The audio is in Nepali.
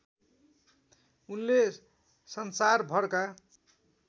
उनले संसारभरका